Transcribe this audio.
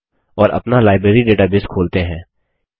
और अपना library database खोलते हैं